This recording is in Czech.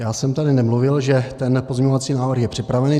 Já jsem tady nemluvil, že ten pozměňovací návrh je připraven.